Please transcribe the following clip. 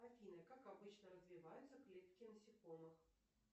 афина как обычно развиваются клетки насекомых